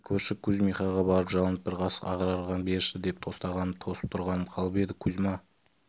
енді көрші кузьмихаға барып жалынып бір қасық ағарған берші деп тостағанымды тосып тұрғаным қалып еді кузьма